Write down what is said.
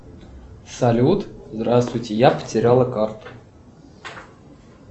салют здравствуйте я потеряла карту